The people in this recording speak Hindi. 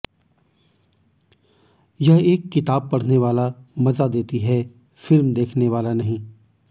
यह एक किताब पढ़ने वाला मजा देती है फिल्म देखने वाला नहीं